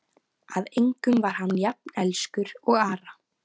Að engum var hann jafn elskur og Ara.